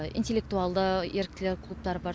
интелектуалды еріктілер клубтары бар